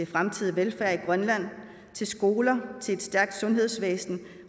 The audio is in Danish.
fremtidige velfærd i grønland til skoler til et stærkt sundhedsvæsen